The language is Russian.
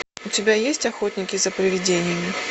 у тебя есть охотники за привидениями